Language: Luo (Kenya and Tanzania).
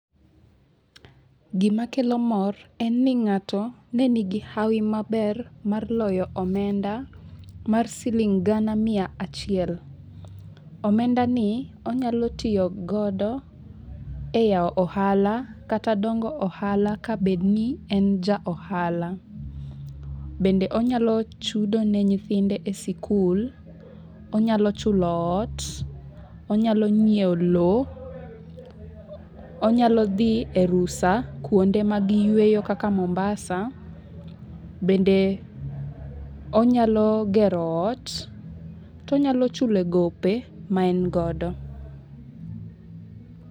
Gima kelo mor en ni ng'ato ne ni gi hawi maber mar loyo omenda mar siling gana mia achiel. Omenda ni onyalo tiyogodo e yawo ohala kata dongo ohala ka bed ni en ja ohala. Bende onyalo chudo ne thithinde e sikul, onyalo chulo ot, onyalo nyiew lo, onyalo dhi e rusa kuonde mag yueyo kaka mombasa. Bende onyalo gero ot. To onyalo chulo gope ma en godo.